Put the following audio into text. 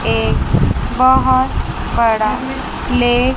एक बहोत बड़ा ले --